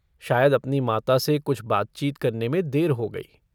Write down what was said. शायद अपनी माता से कुछ बातचीत करने में देर हो गई।